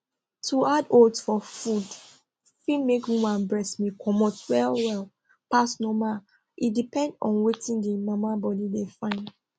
to add oats for food fit make woman breast milk comot well well pass normal e depend on wetin the mama body de fyn